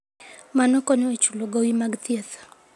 Mano konyo e chulo gowi mag thieth.